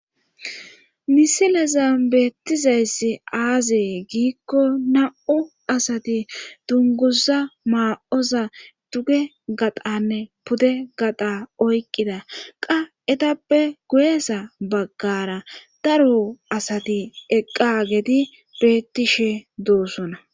misilezan beettizayssi aazee giikko nam7u asati dunguza maa7oza duge gaxanne pude gaxa oyqqida qa etappe guyesa baggara daro asati eqqa geti bettishe doosona